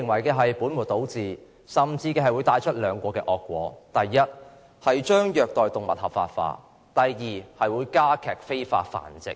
如此本末倒置會帶來兩個惡果：第一，將虐待動物合法化；第二，助長非法繁殖。